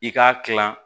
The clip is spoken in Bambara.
I k'a kilan